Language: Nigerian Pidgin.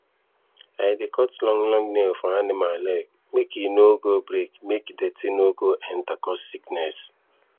i dey cut long long nail for animal leg make e for no go break make dirty no go enter cause sickness